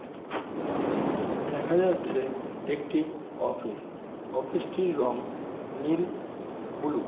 দেখা যাচ্ছে একটি অফিস অফিস টির রং নীল ব্লু ।